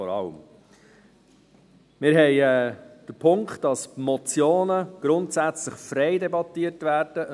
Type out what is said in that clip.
Wir haben den Punkt, dass Motionen grundsätzlich frei debattiert werden.